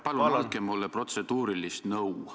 Palun andke mulle protseduurilist nõu.